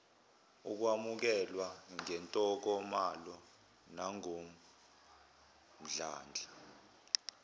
ukwamukelwa ngentokomalo nangomdlandla